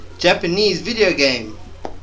japanese video game